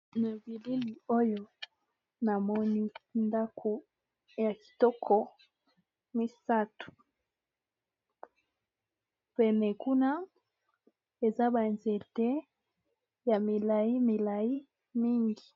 Na bilili oyo namoni ndaku ya kitoko misatu pene kuna eza ba nzete ya milayi milayi mingi.